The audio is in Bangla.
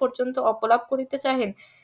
পর্যন্ত অপলোপ করিতে চাহেন